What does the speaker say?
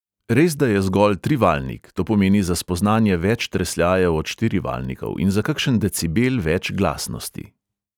Resda je zgolj trivaljnik, to pomeni za spoznanje več tresljajev od štirivaljnikov in za kakšen decibel več glasnosti.